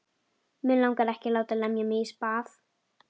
Mig langar ekki að láta lemja mig í spað.